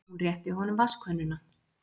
Hún rétti honum vatnskönnuna.